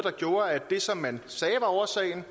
det som man sagde var årsagen